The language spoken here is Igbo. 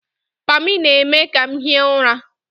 Pammy na-eme ka m hie ụra